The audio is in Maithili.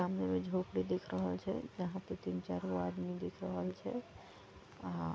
सामने मे झोपड़ी दिख रहल छै जहाँ पे तीन चारगो आदमी दिख रहल छै।